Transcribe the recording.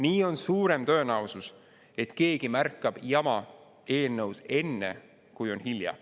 Nii on suurem tõenäosus, et keegi märkab jama eelnõus enne, kui on hilja.